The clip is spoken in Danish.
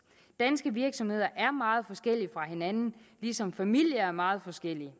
danske virksomheder er meget forskellige fra hinanden ligesom familier er meget forskellige